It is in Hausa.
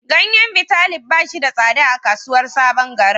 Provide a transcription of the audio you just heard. Ganyen Bitalib ba shi da tsada a kasuwar sabon garin.